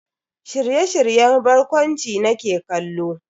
Shirye-shiryen barkwanci nake kallo.